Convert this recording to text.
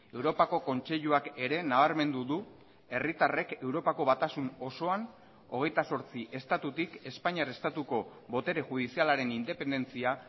europako kontseiluak ere nabarmendu du herritarrek europako batasun osoan hogeita zortzi estatutik espainiar estatuko botere judizialaren independentzia